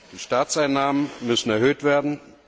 Die Staatseinnahmen müssen erhöht werden.